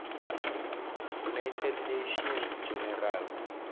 united nations general